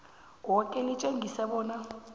yoke litjengise bona